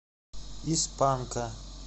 из панка